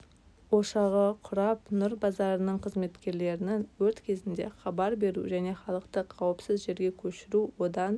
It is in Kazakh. өшағы құрап нұр базарының қызметкерлерінің өрт кезінде хабар беру және халықты қауіпсіз жерге көшіру одан